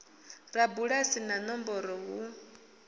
ḽa bulasi na nomboro hu